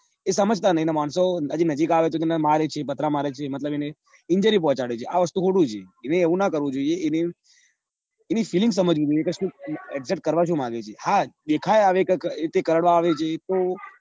એ સમજતા નઈ અન માણસો નજીક આવે તો મારે છે પથરા મારે છે મતલબ એને injury પહોંચાડે ચિ આ વસ્તુ ખોટી છે. એને એવું ના કરવું જોઈએ એની feeling સમજવી જોઈએ કે સુ એક્ષત કરવા સુ માંગે છે હા દેખાય આવે કે કે કરડવા આવે તો